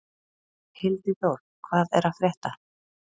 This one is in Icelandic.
Hildiþór, hvað er að frétta?